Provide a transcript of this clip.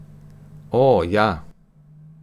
O, ja.